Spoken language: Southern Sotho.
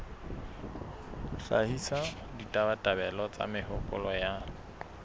hlahisa ditabatabelo le mehopolo ya